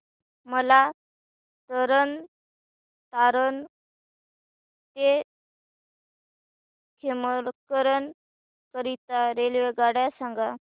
मला तरण तारण ते खेमकरन करीता रेल्वेगाड्या सांगा